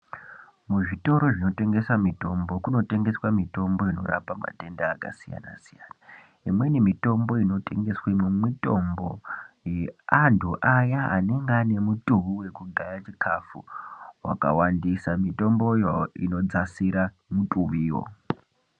Muzvitoro zvinotengese mitombo kunotengeswa mitombo inorapa matenda akasiyana-siyana. Imweni mitombo inotengeswemo mitombo yeantu aya anonga anemutuwi wekugaye chikafu wakawandisa, mitomboyo inodzasira mutiwiwo.